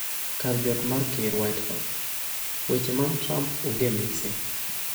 Kar jot mar ker WhiteHouse: Weche mag Trump onge mise